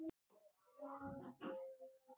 Hann hafði áður spurt mig út í rannsóknina.